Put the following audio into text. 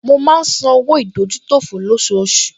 Mo máa ń san owó ìdójútòfò lọ́ṣooṣù